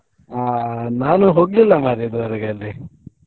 ಆ ನಾನು ಹೋಗ್ಲಿಲ್ಲ ಮರ್ರೆ ಇದುವರೆಗೆ ಅಲ್ಲಿ.